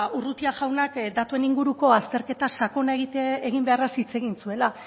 urrutia jaunak datuen inguruko azterketa sakona egin beharraz hitz egin zuela